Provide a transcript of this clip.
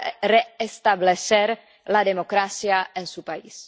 restablecer la democracia en su país.